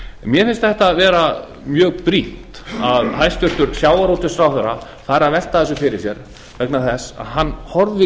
mér finnst þetta vera mjög brýnt að hæstvirtur sjávarútvegsráðherra fari að velta þessu fyrir sér vegna þess að hann horfir